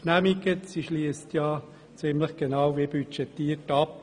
Sie schliesst ja ziemlich genau gemäss dem Budget ab.